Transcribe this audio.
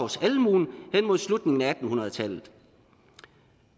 at mod slutningen af atten hundrede tallet